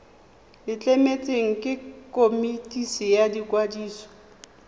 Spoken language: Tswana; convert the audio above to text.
letleletswe ke komiti ya ikwadiso